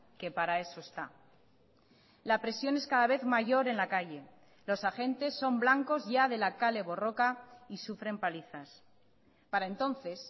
que para eso está la presión es cada vez mayor en la calle los agentes son blancos ya de la kale borroka y sufren palizas para entonces